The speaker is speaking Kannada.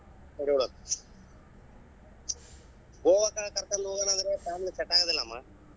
ಗೋವಾ ಕಡೆ ಕರಕೊಂಡ್ ಹೋಗೋಣಾಂದ್ರೆ family ಗೆ set ಆಗದಿಲ್ಲಮ್ಮ.